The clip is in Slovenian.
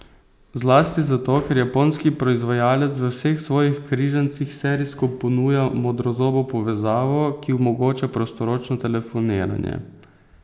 Zlasti zato, ker japonski proizvajalec v vseh svojih križancih serijsko ponuja modrozobo povezavo, ki omogoča prostoročno telefoniranje.